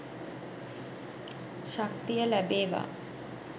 ශක්තිය ලැබේවා.